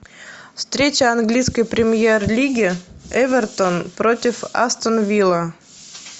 встреча английской премьер лиги эвертон против астон вилла